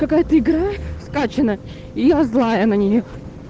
какая-то игра скачана и я злая на неё